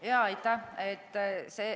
Aitäh!